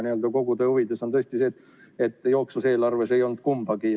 Aga kogu tõe huvides on tõesti see, et jooksvas eelarves ei olnud kumbagi.